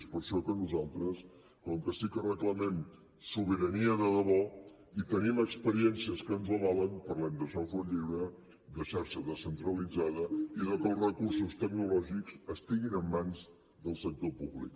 és per això que nosaltres com que sí que reclamem sobirania de debò i tenim experiències que ens ho avalen parlem de software lliure de xarxa descentralitzada i de que els recursos tecnològics estiguin en mans del sector públic